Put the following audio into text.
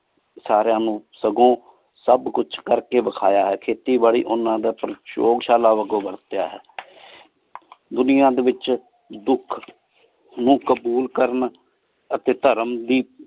ਸਾਰੀਆਂ ਨੂ ਸਗੋਂ ਸਬ ਕਚ ਕਰ ਕੀ ਵਾਖ੍ਯਾ ਹੈ ਖੇਤੀ ਬਰ੍ਰੀ ਓਹਨਾ ਦਾ ਸ਼ਾਲਾ ਅਗੀ ਵਾਰ੍ਤ੍ਯਾ ਹੈ ਦੁਨਿਯਾ ਡੀ ਵਿਚ ਦੁਖ ਨੂ ਕਾਬੂਲ ਕਰਨ ਅਤੀ ਧਰਮ ਦੀ